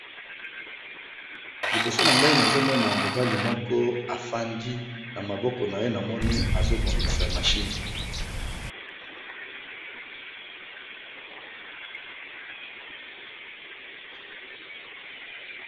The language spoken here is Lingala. Awa tozali komona elenge mobali, aza mecanicien azo bongisa moteur ya mutuka na ndako ya musala naye.